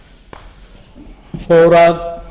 þegar ég fór að